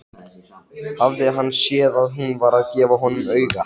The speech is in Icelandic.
Hafði hann séð að hún var að gefa honum auga?